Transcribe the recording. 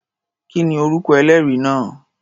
Kí ni orúkọ ẹlẹ́rìí náà?